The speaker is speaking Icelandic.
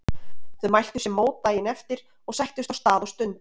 Þau mæltu sér mót daginn eftir og sættust á stað og stund.